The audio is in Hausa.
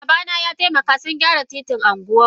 Babana yataimaka sungyara titin anguwanmu.